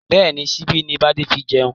Bẹ́ẹ̀ni, síbi ni bade fi ń jẹun